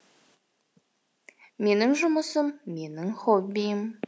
менің жұмысым менің хоббиім